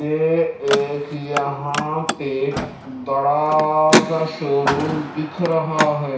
ये एक यहां पे बड़ा सा शोरूम दिख रहा है।